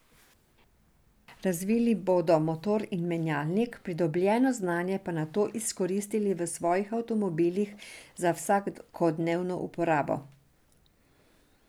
Razvili bodo motor in menjalnik, pridobljeno znanje pa nato izkoristili v svojih avtomobilih za vsakodnevno uporabo.